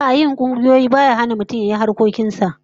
A'a, yin kungiyoyi baya hana mutum yayi sauran harkokin sa